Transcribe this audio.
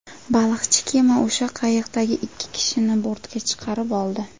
Baliqchi kema o‘sha qayiqdagi ikki kishini bortga chiqarib oldi.